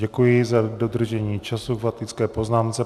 Děkuji za dodržení času k faktické poznámce.